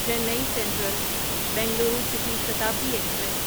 چینی central Bengaluru city Shatabdi express